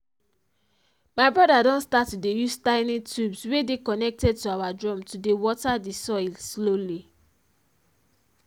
my brother don start to dey use tiny tubes wey dey connected to our drum to dey water the soil slowly